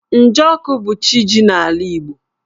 Njọkụ bu chi jì n'ala Igbo.